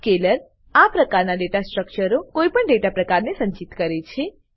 Scalar આ પ્રકાર ના ડેટા સ્ટ્રક્ચરો કોઈ પણ ડેટા પ્રકારને સંચિત કરે છે